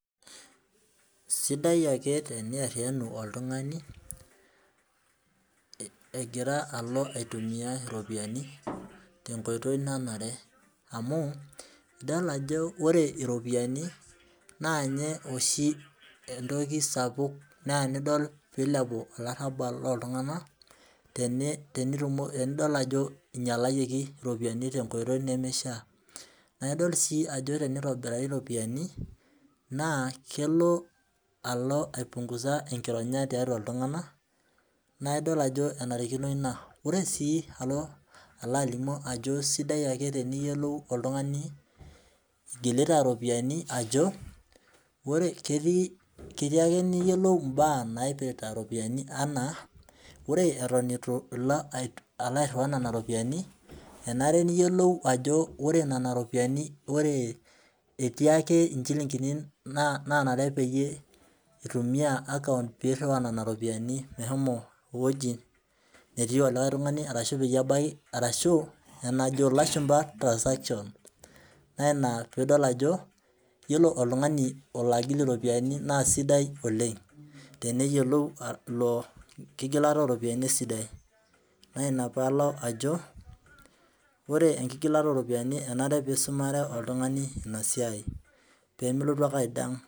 Sidai ake teniatiyianu oltungani, egira alo aitumia iropiyiani te nkoitoi nanare. amu, idol ajo ore iropiyiani, naa ninye oshi entoki sapuk, neya nidol, pee ilepu olarabal looltunganak tenidol ajo ingialayioki iropiyiani, tenkoitoi nemeishaa. naa idol ajo teneotobirari iropiyiani, naa kelo alo aipungusa enkironya tiatu iltunganak .naa idol ajo enarikino ina. ore sii, alo alimu ajo sidai ake teniyiolou, oltungani igilita ropiyiani ajo, ore ketii ake niyiolou. mbaa naipirta iropiyiani anaa, ore Eton eitu ilo airiwaa Nena ropiyiani enare niyiolou ajo ore Nena ropiyiani, etii ake nchulinkini naanarr pee itumia akaunt pee iriwaa nena ropiyiani meshomo ewueji netii likae tungani arashu enajo lashumpa, transaction naa Ina pee idol ajo, iyiolo oltungani olo agil iropiyiani naa sidai oleng teniyiolou, ilo kigilata ooropiyiani esidai. naa Ina pee alo ajo, ore enkigilata ooropiyiani enare pee isumare oltungani Ina siai pee milotu ake